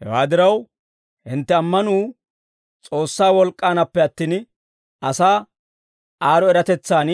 Hewaa diraw, hintte ammanuu S'oossaa wolk'k'aanappe attin, asaa aad'd'o eratetsaan